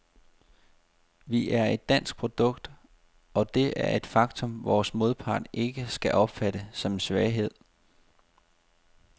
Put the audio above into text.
Vi er et dansk produkt, og det er et faktum, vores modpart ikke skal opfatte som en svaghed.